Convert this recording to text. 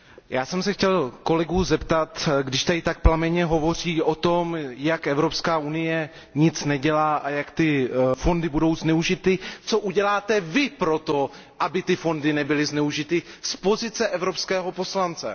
Já jsem se chtěl kolegů zeptat, když tady tak plamenně hovoří o tom, jak Evropská unie nic nedělá a jak ty fondy budou zneužity Co uděláte vy pro to, aby fondy nebyly zneužity, z pozice evropského poslance?